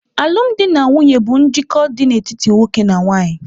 Alụmdi na nwunye bụ njikọ dị n'etiti nwoke na nwanyị.